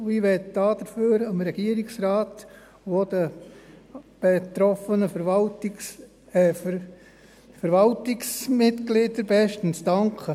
Dafür möchte ich dem Regierungsrat und auch den betroffenen Verwaltungsmitgliedern bestens danken.